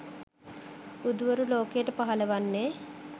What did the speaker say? බුදුවරු ලෝකයට පහළ වන්නේ